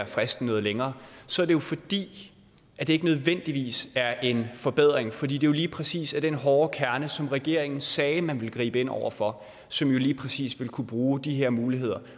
fristen noget længere så er det jo fordi det ikke nødvendigvis er en forbedring fordi det jo lige præcis er den hårde kerne som regeringen sagde at man ville gribe ind over for som lige præcis vil kunne bruge de her muligheder